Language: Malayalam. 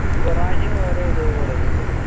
വേറെ ഏതോ college തേനോ